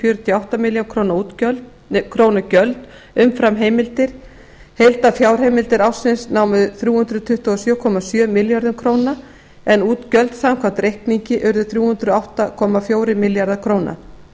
fjörutíu og átta milljónir króna gjöld umfram heimildir heildarfjárheimildir ársins námu þrjú hundruð tuttugu og sjö komma sjö milljörðum króna en útgjöld samkvæmt reikningi urðu þrjú hundruð og átta komma fjórir milljarðar króna